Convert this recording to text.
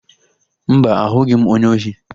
Mba, ahụghị m onye ohi.